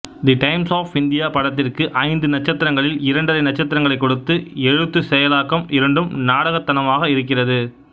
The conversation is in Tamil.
தி டைம்ஸ் ஆஃப் இந்தியா படத்திற்கு ஐந்து நட்சத்திரங்களில் இரண்டரை நட்சத்திரங்களைக் கொடுத்து எழுத்து செயலாக்கம் இரண்டும் நாடகத்தனமாக இருக்கிறது